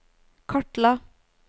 kartla